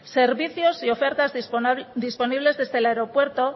servicios y ofertas disponibles desde el aeropuerto